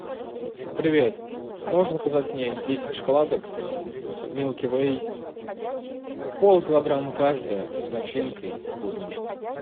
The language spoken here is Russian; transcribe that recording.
привет можешь заказать мне десять шоколадок милки вей полкилограмма каждая с начинкой клубничной